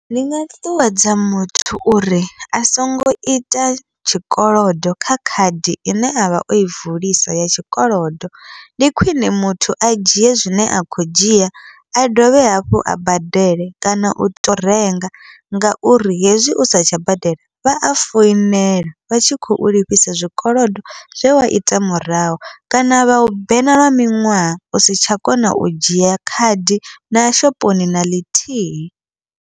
Ndi nga ṱuṱuwedza muthu uri a songo ita tshikolodo kha khadi ine avha oi vulisa ya tshikolodo, ndi khwiṋe muthu a dzhie zwine a khou dzhia a dovhe hafhu a badele kana uto renga. Ngauri hezwi u satsha badela vha a foinela, vha tshi khou lifhisa zwikolodo zwe wa ita murahu kana vha u bena lwa miṅwaha usi tsha kona u dzhia khadi na shophoni na ḽithihi.